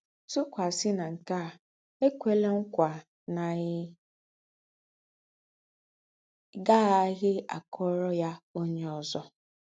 Tùkwàsì ná nke à, é kwèlà ńkwà ná í gá-àghàghì àkọ̀rò ya ónyè ózọ.